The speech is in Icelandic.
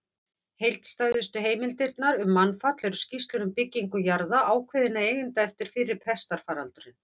Heildstæðustu heimildirnar um mannfall eru skýrslur um byggingu jarða ákveðinna eigenda eftir fyrri pestarfaraldurinn.